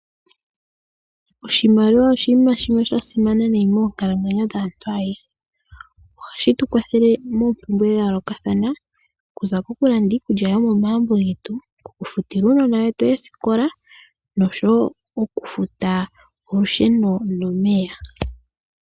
Oshimaliwa oshinima shimwe shasimana moonkalamwenyo dhaantu aehe. Ohashi tukwathele moompumbwe dhayoolokathana okuza kokulanda iikulya yomomagumbo getu, okufutila uunona wetu oositola noshowoo okufuta olusheno nomeya.